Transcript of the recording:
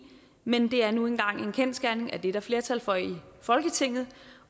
men det er nu engang en kendsgerning at det er der flertal for i folketinget